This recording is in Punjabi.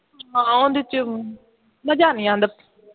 ਹਾਂ ਉਹਦੇ ਚ ਮਜ਼ਾ ਨਹੀਂ ਆਉਂਦਾ